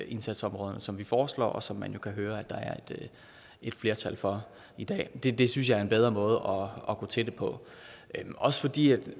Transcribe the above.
indsatsområderne som vi foreslår og som man jo kan høre der er et flertal for i dag det det synes jeg er en bedre måde at gå til det på også fordi